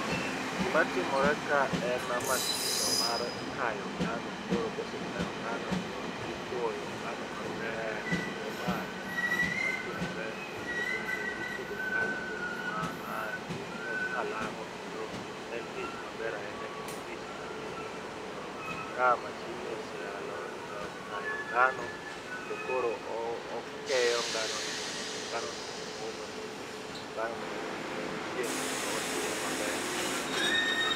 Gimatimore ka en mashinno mar kayo ngano, koro kosekayo ngano timoyo ngano maber kendo ma en tich matimore e gwenge mipidhe ngano e gwenge ma kalang'o kendo en tich maber ahinya kendo tich manigi nengo. Omiyo ka mashinni osea kayo ngano kendo koro okeyo nganono mondo omi nganono omo mondo omi nganono oyud chieng' kendo otuwo maber.